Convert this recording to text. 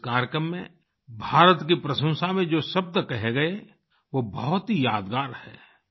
इस कार्यकम में भारत की प्रशंसा में जो शब्द कहे गए वो बहुत ही यादगार हैं